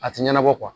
A tɛ ɲɛnabɔ